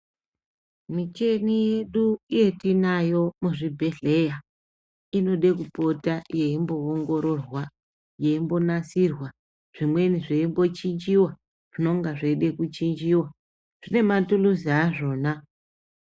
Micheni yedu yetinayo muzvibhedhleya inode kupota yeimboongororwa, yeimbonasirwa. Zvimweni zveimbochinjiwa, zvinenge zveide kuchinjiwa. Zvine matuluzi azvona.